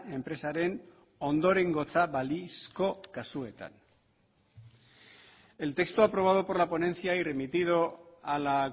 enpresaren ondorengotza balizko kasuetan el texto aprobado por la ponencia y remitido a la